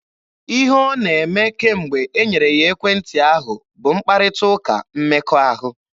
Ihe ọ na-eme kemgbe e nyere ya ekwentị ahụ bụ mkparịta ụka mmekọahụ.